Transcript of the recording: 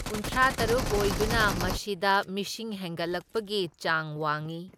ꯀꯨꯟꯊ꯭ꯔꯥꯇꯔꯨꯛ ꯑꯣꯏꯗꯨꯅ ꯃꯁꯤꯗ ꯃꯤꯁꯤꯡ ꯍꯦꯟꯒꯠꯂꯛꯄꯒꯤ ꯆꯥꯡ ꯋꯥꯡꯏ꯫